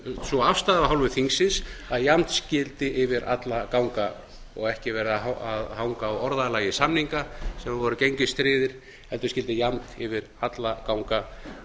sú afstaða af hálfu þingsins að jafnt skyldi yfir alla ganga og ekki vera að hanga á orðalagi samninga sem voru gengistryggðir heldur skyldi jafnt yfir alla ganga